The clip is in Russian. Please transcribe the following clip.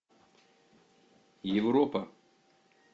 европа